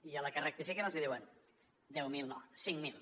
i a la que rectifiquen els diuen deu mil no cinc mil